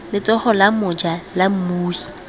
letsogo la moja la mmui